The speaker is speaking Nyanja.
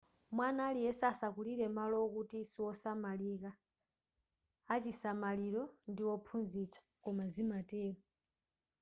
mwana aliyese asakulire malo wokuti siwosamalika achisamaliro ndi wophunzitsa koma zimatero